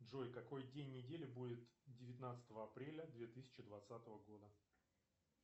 джой какой день недели будет девятнадцатого апреля две тысячи двадцатого года